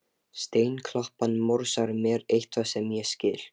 Steinklappan morsar mér eitthvað sem ég skil